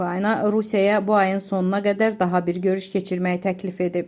Ukrayna Rusiyaya bu ayın sonuna qədər daha bir görüş keçirməyi təklif edib.